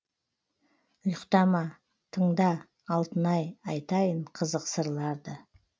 ұйықтама тыңда алтын ай айтайын қызық сырларды